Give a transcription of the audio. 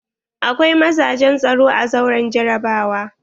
Akwai mazajen tsaro a zauren jarabawa.